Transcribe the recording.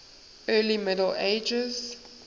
early middle ages